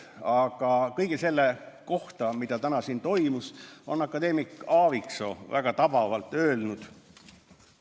Aga kõige selle kohta, mis täna siin räägiti, on akadeemik Aaviksoo väga tabavalt öelnud.